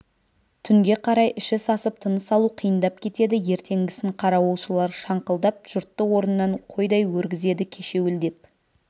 түнге қарай іші сасып тыныс алу қиындап кетеді ертеңгісін қарауылшылар шаңқылдап жұртты орнынан қойдай өргізеді кешеуілдеп